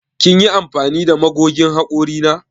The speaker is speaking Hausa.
Kin yi amfani da magogin hakori na?